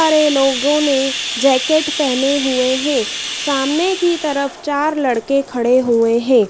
सारे लोगों ने जैकेट पहने हुए हैं सामने की तरफ चार लड़के खड़े हुए हैं।